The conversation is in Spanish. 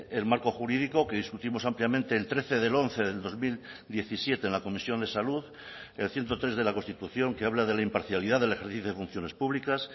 el marco jurídico que discutimos ampliamente el trece del once del dos mil diecisiete en la comisión de salud el ciento tres de la constitución que habla de la imparcialidad del ejercicio de funciones públicas